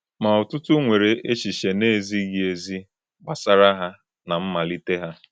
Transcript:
Ma ọtụtụ nwere echiche na-ezighị ezi gbasara ha na mmalite ha.